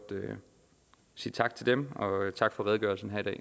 sige tak til dem og tak for redegørelsen her